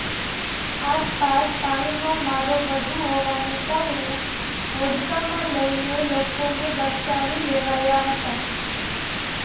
આસપાસ પાણીનો મારો વધુ હોવાને કારણે હોડકામાં લઈને લોકોને બચાવી લેવાયા હતા